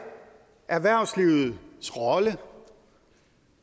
erhvervslivets rolle